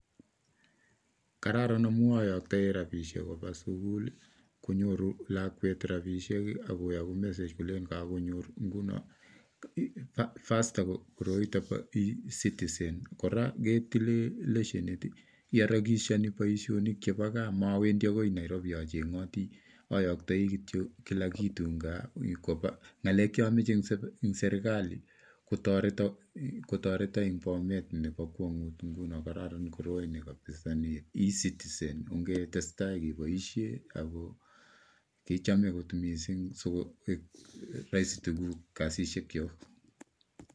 Kararan ngamun ayoktoi rabinik koba sugul konyoru lakwet rabisiek I ak koyoku message kole kakonyor chepkondom, bo chokchinet koroi bo ecitizen kora ketileen lesheni ak chokchiin boishonik chebo gaa maarawendi akoi Nairobi achengootii, ayoktooi kila kitu en soet koba ak ngalek cheomoche kochobwon serkalii kotoretoon ak kararan koro Bo ecitizen, ongetestai keboishien ako kichome kot missing, en kasisiekchok